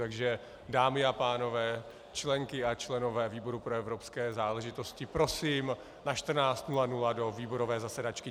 Takže dámy a pánové, členky a členové výboru pro evropské záležitosti, prosím na 14.00 do výborové zasedačky.